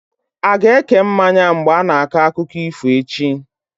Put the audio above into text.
A ga-eke mmanya mgbe a ga na-akọ akụkọ ifo echi?